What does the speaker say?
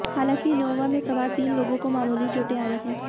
हालांकि इन्नोवा में सवार तीन लोगों को मामूली चोटें आई हैं